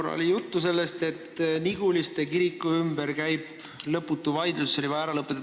Siin oli korra juttu sellest, et Niguliste kiriku ümber käib lõputu vaidlus ja see on vaja ära lõpetada.